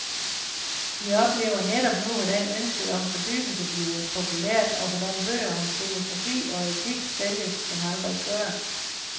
Vi oplever netop nu, hvordan ønsket om fordybelse bliver populært, og hvordan bøger om filosofi og etik sælges som aldrig før.